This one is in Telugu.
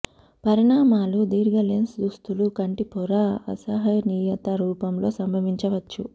పరిణామాలు దీర్ఘ లెన్స్ దుస్తులు కంటిపొర అసహనీయత రూపంలో సంభవించవచ్చు